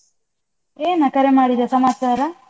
ಏನ ಕರೆ ಮಾಡಿದ ಸಮಾಚಾರ?